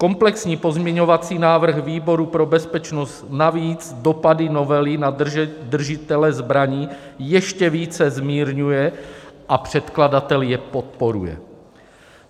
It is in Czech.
Komplexní pozměňovací návrh výboru pro bezpečnost navíc dopady novely na držitele zbraní ještě více zmírňuje a předkladatel je podporuje.